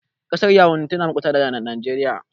Ƙasar yawundi tana makota da Nageriya